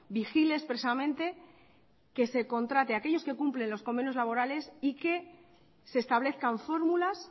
vigile expresamente que se contrate aquellos que cumplen los convenios laborales y que se establezcan fórmulas